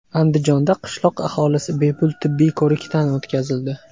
Andijonda qishloq aholisi bepul tibbiy ko‘rikdan o‘tkazildi.